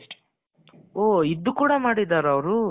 ಓಹ್ ಇದು ಕೂಡ ಮಾಡಿದರ ಅವರು